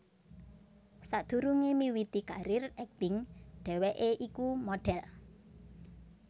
Sadhurungé miwiti karir akting dheweké iku modhel